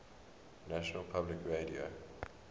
national public radio